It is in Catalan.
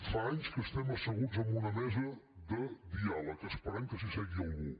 fa anys que estem asseguts en una mesa de diàleg esperant que s’hi assegui algú